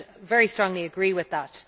I would very strongly agree with that.